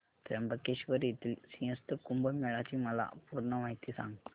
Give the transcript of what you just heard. त्र्यंबकेश्वर येथील सिंहस्थ कुंभमेळा ची मला पूर्ण माहिती सांग